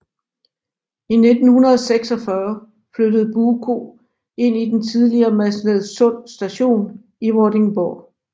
I 1946 flyttede Buko ind i den tidligere Masnedsund Station i Vordingborg